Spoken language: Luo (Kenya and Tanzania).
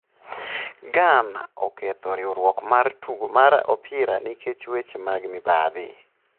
Ghana oketho riwruok mar tugo mar opira nikech weche mag mibadhi